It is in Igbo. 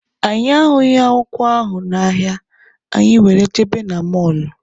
Anyị ahụghị akwụkwọ ahụ n'ahịa, anyị were jebe na mọlụ.